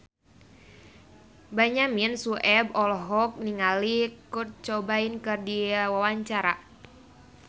Benyamin Sueb olohok ningali Kurt Cobain keur diwawancara